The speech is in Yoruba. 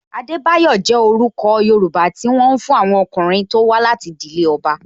Adebayo jẹ orúkọ Yoruba ti wọn fún àwọn ọkùnrin tó wá láti ìdílé ọba